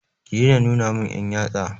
Ki daina nuna mun 'yan yatsa!